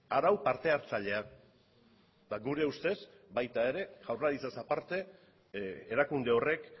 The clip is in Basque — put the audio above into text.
arau parte hartzailea eta gure ustez baita ere jaurlaritzaz aparte erakunde horrek